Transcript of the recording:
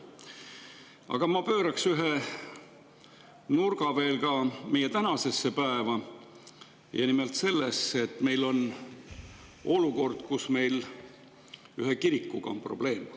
Aga ma pööraks ühe nurga veel ka meie tänasesse päeva ja nimelt sellesse, et meil on olukord, kus meil on ühe kirikuga probleem.